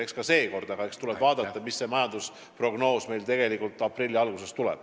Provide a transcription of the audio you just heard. Eks ka seekord, tuleb ainult vaadata, missugune majandusprognoos meil aprilli alguses tuleb.